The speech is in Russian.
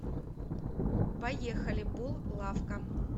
поехали бул лавка